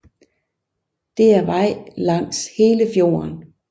Det er vej langs hele fjorden